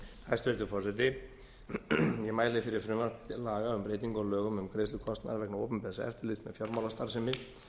hæstvirtur forseti ég mæli fyrir frumvarpi til laga um breytingu á lögum um greiðslu kostnaðar vegna opinbers eftirlits með fjármálastarfsemi